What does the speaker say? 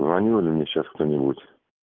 звонил же мне сейчас кто-нибудь